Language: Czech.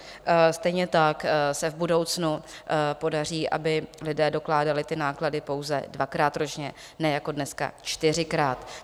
Stejně tak se v budoucnu podaří, aby lidé dokládali ty náklady pouze dvakrát ročně, ne jako dneska čtyřikrát.